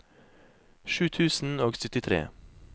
sju tusen og syttitre